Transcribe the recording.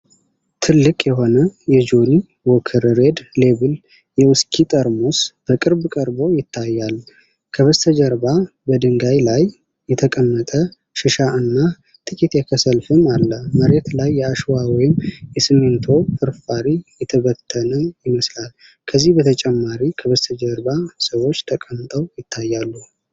ትልቅ የሆነ የጆኒ ዎከር ሬድ ሌብል የዊስኪ ጠርሙስ በቅርብ ቀርቦ ይታያል። ከበስተጀርባ በድንጋይ ላይ የተቀመጠ ሽሻ እና ጥቂት የከሰል ፍም አለ። መሬት ላይ የአሸዋ ወይም የሲሚንቶ ፍርፋሪ የተበተነ ይመስላል፤ ከዚህ በተጨማሪ ከበስተጀርባ ሰዎች ተቀምጠው ይታያሉ።